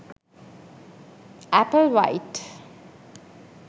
apple white